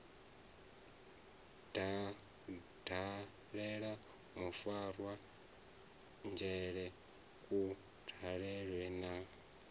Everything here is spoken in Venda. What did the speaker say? dalela mufarwa dzhele kudalele na